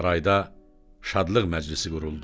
Sarayda şadlıq məclisi quruldu.